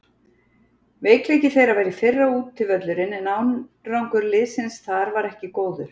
Veikleiki þeirra var í fyrra útivöllurinn en árangur liðsins þar var ekki góður.